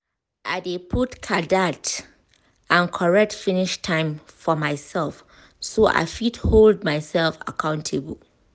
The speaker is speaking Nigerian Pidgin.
i dey put kajad and correct finish time for myself so i fit hold myself accountable